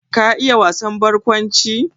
Ka iya wasan barkwanci?